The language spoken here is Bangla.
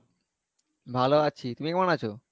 ভালো আছি, তুমি কেমন আছো?